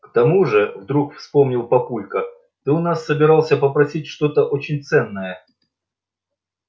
к тому же вдруг вспомнил папулька ты у нас собирался попросить что-то очень ценное